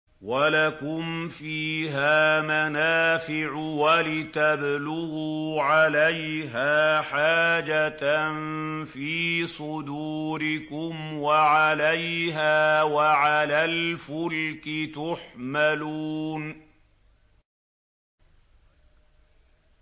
وَلَكُمْ فِيهَا مَنَافِعُ وَلِتَبْلُغُوا عَلَيْهَا حَاجَةً فِي صُدُورِكُمْ وَعَلَيْهَا وَعَلَى الْفُلْكِ تُحْمَلُونَ